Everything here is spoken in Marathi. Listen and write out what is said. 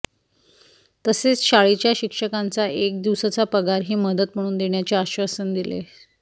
तसेच शाळेच्या शिक्षकांचा एक दिवसाचा पगारही मदत म्हणून देण्याचे आश्वासन दिले